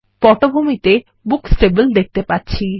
পটভূমি তে আমরা বুকস টেবিল দেখতে পাচ্ছি